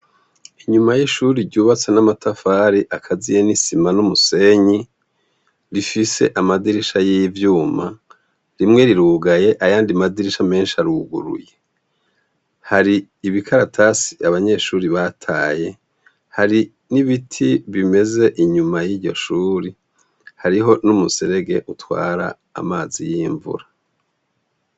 Inyuma y'ishuri ryubatse n'amatafari akaziye n'isima n'umusenyi, rifise amadirisha y'ivyuma, rimwe rirugaye ayandi madirisha menshi aruguruye. Hari ibikaratasi abanyeshuri bataye. Hari n'ibiti bimeze inyuma y'iryo shuri, hariho n'umuserege utwara amazi y'iyo mvura.